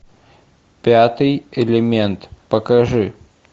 пятый элемент покажи